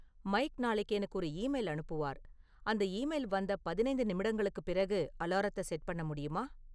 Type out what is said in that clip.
Mic நாளைக்கு எனக்கு ஒரு ஈமெயில் அனுப்புவார், அந்த ஈமெயில் வந்த பதினைந்து நிமிடங்களுக்குப் பிறகு அலாரத்த செட் பண்ண முடியுமா?